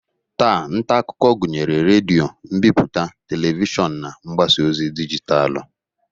Taa, nta akụkọ gụnyere redio, mbipụta, Televishọn na mgbasa ozi dijitalụ.